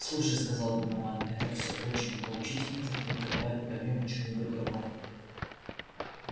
слушай сказал донован это все очень поучительно только давай поговорим о чем-нибудь другом